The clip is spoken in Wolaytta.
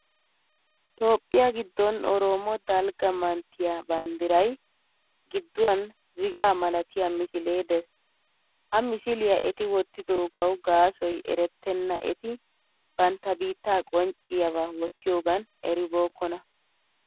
Toophphiya giddon oroomo dalgga manttiya banddiray gidduwan zigaa malatiya misilee Des. Ha misiliyaa eti wottidoogawu gaasoy erettenna eti bantta biitta qoncciyabaa wottiyoogan eribookkona.